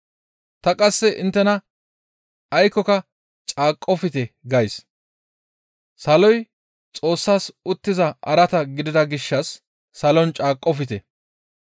Ta qasse inttena aykkoka caaqqofte gays; saloy Xoossas uttiza araata gidida gishshas salon caaqqofte.